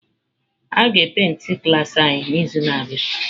A ga e paintị klaasị anyị n'izu na-abịa.